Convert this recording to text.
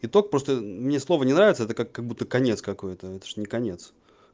итог просто мне слово не нравится это как-будто конец какой-то это ж не конец